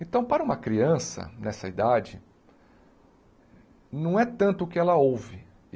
Então, para uma criança, nessa idade, não é tanto o que ela ouve.